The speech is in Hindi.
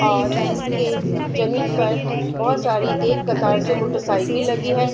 और इसके जमीन पर बहोत सारी एक कतार से मोटरसाइकिल लगी है।